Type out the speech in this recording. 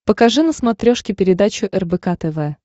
покажи на смотрешке передачу рбк тв